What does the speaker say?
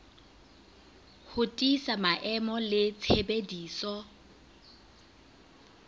ho tiisa maemo le tshebediso